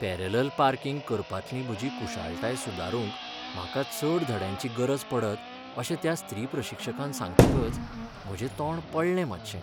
Parallel parking करपांतली म्हजी कुशळटाय सुदारूंक म्हाका चड धड्यांची गरज पडत अशें त्या स्त्री प्रशिक्षकान सांगतकच म्हजें तोंड पडलें मातशें.